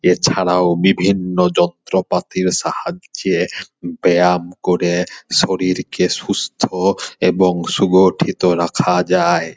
এছাড়াও বিভিন্ন যন্ত্রপাতির সাহায্যে ব্যায়াম করে শরীর কে সুস্থ এবং সুগঠিত রাখা যায়।